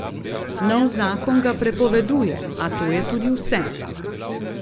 Nov zakon ga prepoveduje, a to je tudi vse.